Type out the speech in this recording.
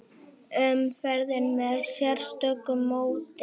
Umferðin með sérstöku móti